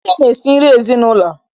Nne na-esi nri n'ezinụlọ.